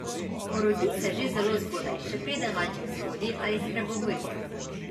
Porodi se že zelo zgodaj, še preden malček shodi ali spregovori.